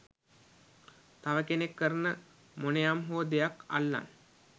තව කෙනෙක් කරන මොනයම්හෝ දෙයක් අල්ලන්